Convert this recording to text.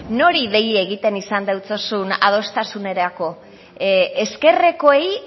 nori dei egiten izan deutsozun adostasunerako ezkerrekoei